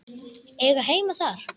Eiga heima þar?